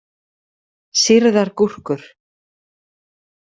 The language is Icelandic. Sýrðar gúrkur.